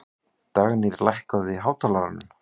Dagnýr, lækkaðu í hátalaranum.